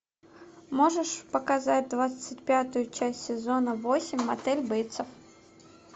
можешь показать двадцать пятую часть сезона восемь мотель бейтсов